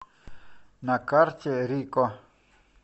на карте рико